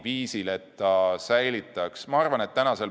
Võib-olla on ka see olnud nende jutuajamiste teema.